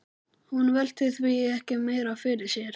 Hún velti því ekki meira fyrir sér.